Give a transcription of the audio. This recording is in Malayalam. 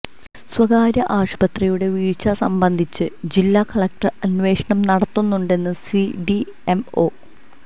സ്വകാര്യ ആശുപത്രിയുടെ വീഴ്ച സംബന്ധിച്ച് ജില്ലാ കളക്ടർ അന്വേഷണം നടത്തുന്നുണ്ടെന്ന് ഡിഎംഒ